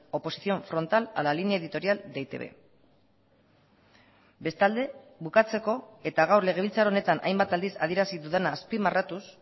oposición frontal a la línea editorial de e i te be bestalde bukatzeko eta gaur legebiltzar honetan hainbat aldiz adierazi dudana azpimarratuz